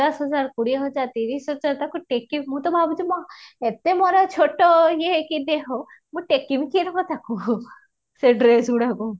ପଚାଶ ହଜାର କୋଡିଏ ହଜାର ତିରିଶ ହଜାର ତାକୁ ଟେକି ମୁଁ ତ ଭାବୁଛି ମୋ ଏତେ ମୋର ଛୋଟ ଇଏ ହେଇ କେମିତି ହବ ମୁଁ ଟିକିବି କେମିତି ତାକୁ ସେ ଡ୍ରାଏସ୍ରେ ଗୁଡାକୁ